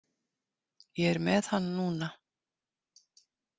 Ég er með hann núna.